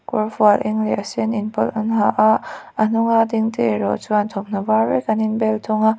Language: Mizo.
kawrfual eng leh a sen inpawlh an ha a a hnung a ding te erawh chuan thawmhnaw var vek an in bel thung a.